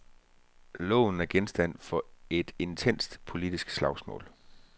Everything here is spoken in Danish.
Loven er genstand for et intenst politisk slagsmål.